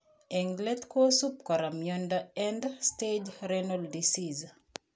Eng' let kosub kora miondop End stage renal disease